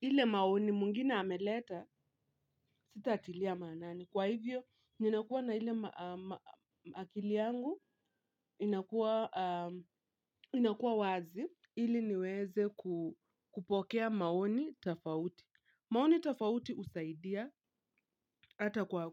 ile maoni mwengine ameleta sitatilia maanani. Kwa hivyo, ninakuwa na ile akili yangu inakuwa wazi ili niweze kupokea maoni tofauti. Maoni tofauti husaidia hata kwa